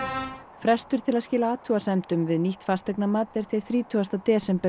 frestur til að skila athugasemdum við nýtt fasteignamat er til þrítugasti desember